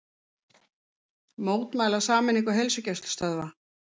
Mótmæla sameiningu heilsugæslustöðva